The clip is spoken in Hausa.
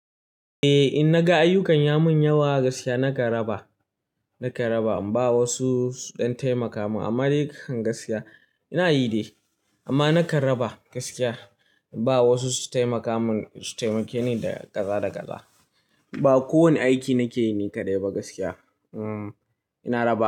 Eh, in naga ayyukan ya mun yawa gaskiya nakan raba, nakan raba. Bawa wasu suɗan taimaka mun amma dai kan gaskiya ina yi dai amma nakan raba gaskiya. Bawa wasu su taimaka mun, su taimake ni daga ƙaza ƙaza. Ba ko wani aiki nake yi ne kaɗai ba gaskiya. Umm, ina raba.